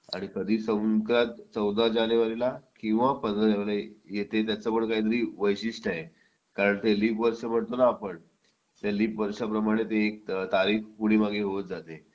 आणि संक्रांत कधी चौदा जानेवारीला किंवा पंधरा जानेवारीला येते त्याचं पण काहीतरी वैशिष्ट्य आहे कारण ते लीप वर्ष म्हणतो ना आपण त्या लीप वर्षाप्रमाणे ती तारीख पुढे मागे होत जाते